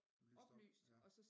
Lyst op ja